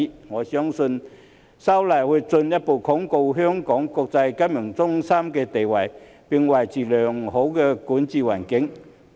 我相信修例會進一步鞏固香港國際金融中心的地位，並維持良好的營商環境。